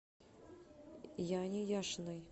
яне яшиной